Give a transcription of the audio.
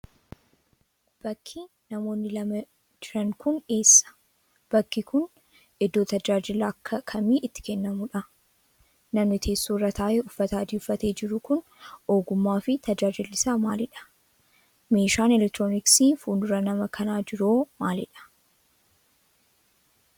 Bakki namoonni lama jiran kun eessa? Bakki kun, iddoo tajaajilli akka kamii itti kennamuudha? Namni teessoo irra taa'ee uffata adii uffatee jiru kun, ogummaa fi tajaajilli isaa maalidha? Meeshaan elektirooniksii fuuldura nama kanaa jiru hoo maalidha?